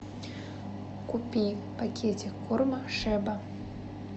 купи пакетик корма шеба